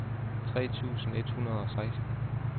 tres tusind et hundrede og seksten